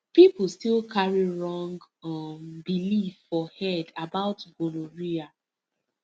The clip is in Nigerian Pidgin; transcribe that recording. people still carry wrong um belief for head about gonorrhea